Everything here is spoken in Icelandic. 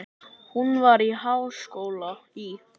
Hún var í háskóla í